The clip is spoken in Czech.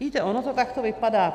Víte, ono to takto vypadá.